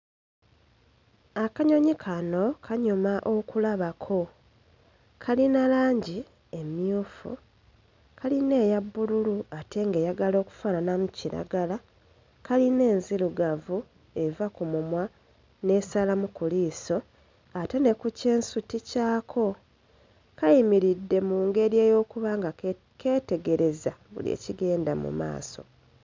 Akanyonyi kano kanyuma okulabako. Kalina langi emmyufu, kalina eya bbululu ate ng'eyagala okufaananamu kiragala, kalina enzirugavu eva ku mumwa n'esalamu ku liiso, ate ne ku kyensuti kyako. Kayimiridde mu ng'eri ey'okuba nga keetegereza buli ekigenda mu maaso.